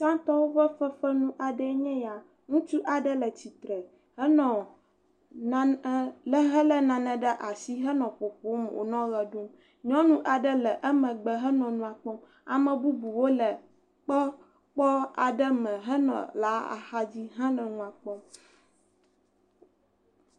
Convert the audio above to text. Tsãtɔwo ƒe fefe nu aɖe enye ya. Ŋutsu aɖe le tsitre henɔ nane hele nane ɖe asi henɔ ƒoƒom wonɔ ʋe ɖum. Nyɔnu aɖe nɔ emegbe henɔ nua kpɔm. Ame bubuwo le kpɔ kpɔ kpɔ aɖe me henɔ la axadzi henɔ nua kpɔm.